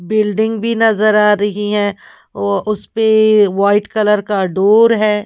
Building भी नजर आ रही है व उसपे वाइट कलर का डोर है।